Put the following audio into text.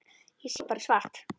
Ég sé bara svart.